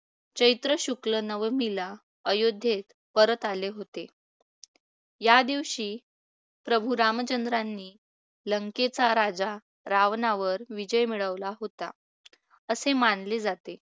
चैत्र शुक्ल नवमीला अयोध्येत परत आले होते. या दिवशी प्रभू रामचंद्रांनी लंकेचा राजा रावणावर विजय मिळवला होता. असे मानले जाते.